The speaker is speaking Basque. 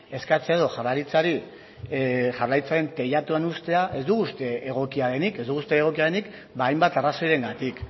eskatzea edo jaurlaritzaren teilatuan uztea ez dugu uste egokia denik ez dugu uste egokia denik ba hainbat arrazoirengatik